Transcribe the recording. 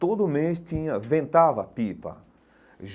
Todo mês tinha, ventava pipa.